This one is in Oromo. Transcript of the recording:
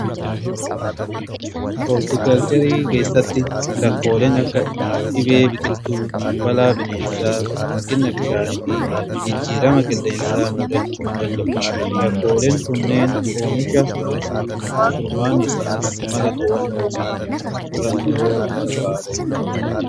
Hooltikelcherii keessatti rakkooleen akka dhibee biqiltuu, balaa bineensaa, hanqina bishaanii fi jijjiirama qilleensaa muudachuu danda'u. Rakkooleen kunneen oomisha hir'isu. furmaanni isaaniis mala to'annootii fi turannoo barbaaddachuudha.